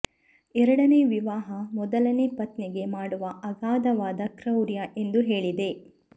ಎರಡನೇ ವಿವಾಹ ಮೊದಲನೇ ಪತ್ನಿಗೆ ಮಾಡುವ ಅಗಾಧವಾದ ಕ್ರೌರ್ಯ ಎಂದು ಹೇಳಿದೆ